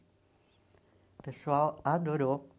O pessoal adorou.